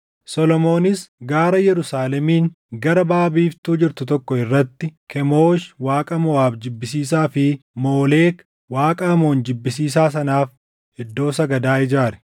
Solomoonis gaara Yerusaalemiin gara baʼa biiftuu jirtu tokko irratti Kemoosh Waaqa Moʼaab jibbisiisaa fi Moolek Waaqa Amoon jibbisiisaa sanaaf iddoo sagadaa ijaare.